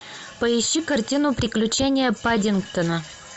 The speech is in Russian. поищи картину приключения паддингтона